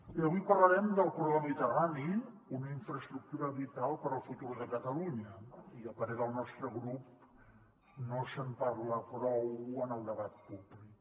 bé avui parlarem del corredor mediterrani una infraestructura vital per al futur de catalunya i a parer del nostre grup no se’n parla prou en el debat públic